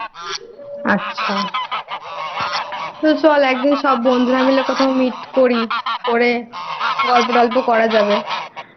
আচ্ছা চল একদিন সব বন্ধুরা মিলে কোথাও Meet করি করে গল্প টল্প করা যাবেI